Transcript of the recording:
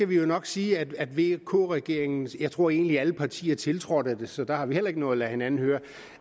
vi jo nok sige at vk regeringen og jeg tror egentlig at alle partier tiltrådte det så der har vi heller ikke noget at lade hinanden høre